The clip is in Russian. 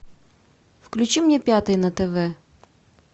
включи мне пятый на тв